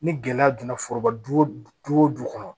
Ni gɛlɛya donna foroba du o du kɔnɔ